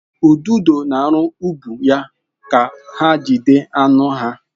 Ududo na-arụ ụgbụ ha ka ha jide anụ ha.